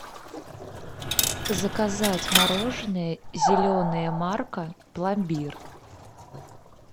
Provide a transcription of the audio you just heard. заказать мороженое зеленая марка пломбир